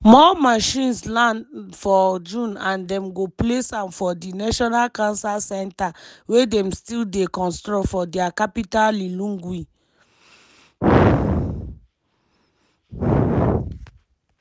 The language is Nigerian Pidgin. more machines land for june and dem go place am for di national cancer centre wey dem still dey construct for dia capital lilongwe.